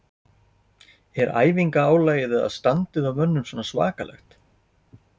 Er æfinga álagið eða standið á mönnum svona svakalegt?